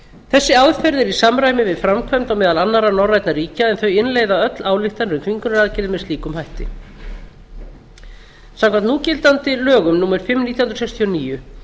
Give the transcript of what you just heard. þessi aðferð er í samræmi við framkvæmd á meðal annarra norrænna ríkja en þau innleiða öll ályktanir um þvingunaraðgerðir með slíkum hætti samkvæmt núgildandi lögum númer fimm nítján hundruð sextíu og níu